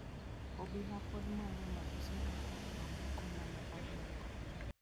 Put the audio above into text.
Obila pod manyo mabuse apar mamoko ma ne oringo.